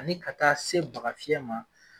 Ani ka taa se baga fiɲɛ ma